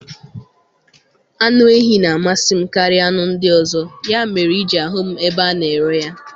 Anụ ehi na amasị m karịa anụ ndị ọzọ, ya mere iji ahụ m ebe a na ere ya